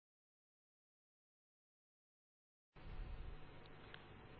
তাহলে এর পাশের চেক বক্স এ ক্লিক করুন